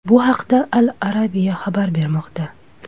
Bu haqda Al Arabia xabar bermoqda .